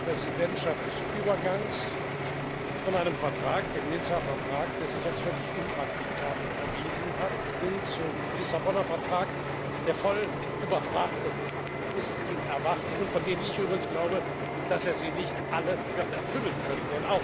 Sie war eine Präsidentschaft des Übergangs von einem Vertrag, dem Vertrag von Nizza, der sich als völlig unpraktikabel erwiesen hat, hin zum Lissabonner Vertrag, der überfrachtet ist mit Erwartungen, von denen ich übrigens glaube, dass er sie nicht alle wird erfüllen können.